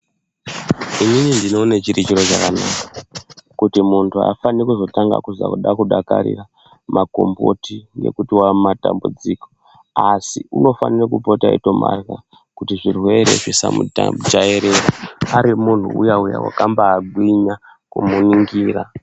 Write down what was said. Inini ndinoone chiri chiro chakanaka kuti muntu aafanire kutanga kunzwa kuda kudakarira makomboti ngekuti wamumatambudziko asi unofanire kupota eitomarya kuti zvirwere zvisamujairira ari munhu uya uya wakambagwinya kumuningira.